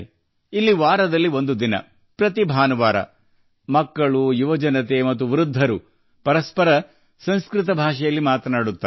ಇಲ್ಲಿ ವಾರಕ್ಕೊಮ್ಮೆ ಪ್ರತಿ ಭಾನುವಾರ ಮಕ್ಕಳು ಯುವಕರು ಮತ್ತು ಹಿರಿಯರು ಪರಸ್ಪರ ಸಂಸ್ಕೃತದಲ್ಲಿ ಮಾತನಾಡುತ್ತಾರೆ